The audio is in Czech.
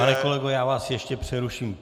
Pane kolego, já vás ještě přeruším.